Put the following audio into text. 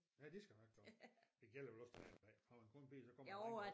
Ja de skal nok komme det gælder vel også den andne vej har man kun piger så kommer der